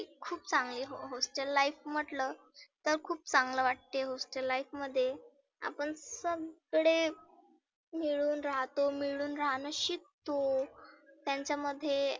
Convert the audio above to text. खुप चांगली हो hostel life म्हटलं तर खुप चांगल वाटते hostel life मध्ये. आपण सगळे मिळुन राहतो, मिळुन राहनं शिकतो. त्यांच्यामध्ये